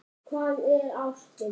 Hvað er ástin?